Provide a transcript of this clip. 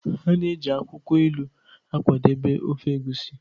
A na-eji akwukwo ilu akwadebe ofe egusi